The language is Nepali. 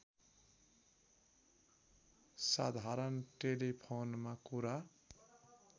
साधारण टेलिफोनमा कुरा